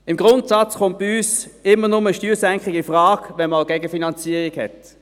Im Grundsatz kommt bei uns eine Steuersenkung immer nur infrage, wenn man auch eine Gegenfinanzierung hat.